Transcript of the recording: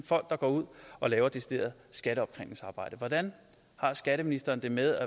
folk der går ud og laver decideret skatteopkrævningsarbejde hvordan har skatteministeren det med